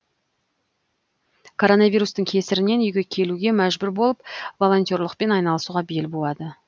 коронавирустың кесірінен үйге келуге мәжбүр болып волонтерлықпен айналысуға бел буады